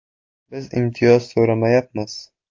“Biz imtiyoz so‘ramayapmiz”.